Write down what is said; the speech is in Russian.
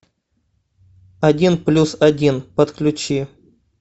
один плюс один подключи